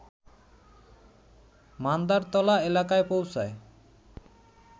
মান্দারতলা এলাকায় পৌঁছায়